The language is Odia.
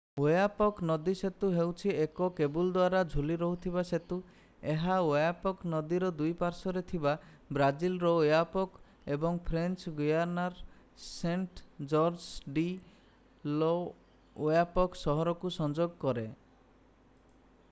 ଓୟାପକ୍ ନଦୀ ସେତୁ ହେଉଛି ଏକ କେବୁଲ୍-ଦ୍ୱାରା-ଝୁଲି ରହିଥିବା ସେତୁ ଏହା ଓୟାପକ୍ ନଦୀର ଦୁଇ ପାର୍ଶ୍ୱରେ ଥିବା ବ୍ରାଜିଲର ଓୟାପୋକ୍ ଏବଂ ଫ୍ରେଞ୍ଚ ଗୁୟାନାର ସେଣ୍ଟ-ଜର୍ଜସ୍ ଡି ଲ'ଓୟାପକ୍ ସହରକୁ ସଂଯୋଗ କରେ